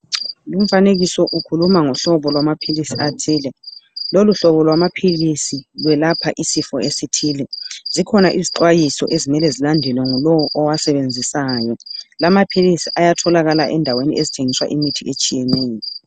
Lumfanekiso ukhuluma ngohlobo lwamaphilisi athile loluhlobo lwamaphilisi lwelapha isifo esithile .Zikhona izixwayiso ezimele zilandelwe ngulowo owasebenzisayo .Lamaphilisi ayatholakala endaweni ezithengiswa imithi etshiyeneyo.